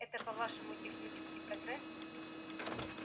это по-вашему технический прогресс